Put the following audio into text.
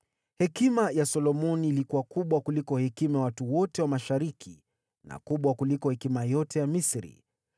Hekima ya Solomoni ilikuwa kubwa kuliko hekima ya watu wote wa Mashariki na kubwa kuliko hekima yote ya Misri.